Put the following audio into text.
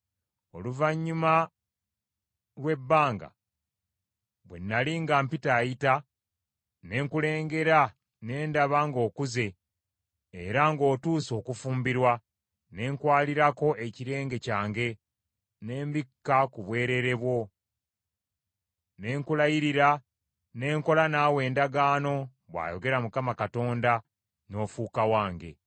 “ ‘Oluvannyuma lwa bbanga, bwe nnali nga mpitaayita, ne nkulengera ne ndaba ng’okuze era ng’otuuse okufumbirwa, ne nkwaliirako ekirenge kyange ne mbikka ku bwereere bwo; ne nkulayirira ne nkola naawe endagaano, bw’ayogera Mukama Katonda, n’ofuuka wange.